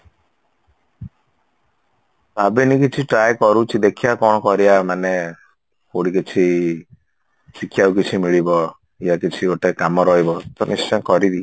ଭାବିନି କିଛି try କରୁଛି ଦେଖିବା କଣ କରିବା ମାନେ କଉଠି କିଛି ଶିଖିବାକୁ କିଛି ମିଳିବ ୟା କିଛି ଗୋଟେ କାମ ରହିବ ତ ନିଶ୍ଚୟ କରିବି